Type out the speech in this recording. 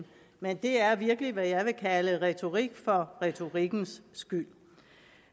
men det er virkelig hvad jeg vil kalde retorik for retorikkens skyld